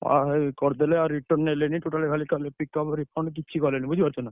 ଅ କରିଦେଲେ ଆଉ return ନେଲେନି total କିଛି କଲେନି ବୁଝିପାରୁଛ ନା।